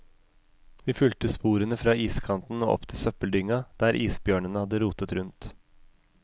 Vi fulgte sporene fra iskanten og opp til søppeldynga, der isbjørnene hadde rotet rundt.